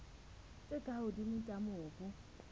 tse ka hodimo tsa mobu